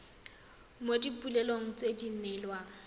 mo dipoelong tse di neelwang